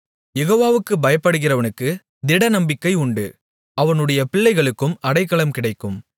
யெகோவாவுக்குப் பயப்படுகிறவனுக்குத் திடநம்பிக்கை உண்டு அவனுடைய பிள்ளைகளுக்கும் அடைக்கலம் கிடைக்கும்